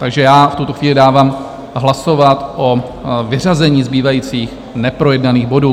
Takže já v tuto chvíli dávám hlasovat o vyřazení zbývajících neprojednaných bodů.